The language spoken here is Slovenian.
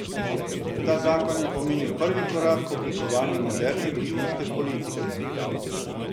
Ta zakon je pomenil prvi korak k oblikovanju moderne družinske politike.